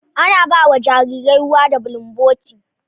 Ana ba wa jarirai ruwa da bulumboti